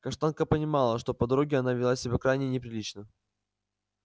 каштанка помнила что по дороге она вела себя крайне неприлично